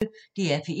DR P1